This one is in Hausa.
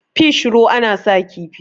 fish ro ana sa kifi